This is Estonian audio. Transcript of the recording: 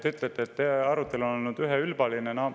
Te ütlete, et arutelu on olnud üheülbaline.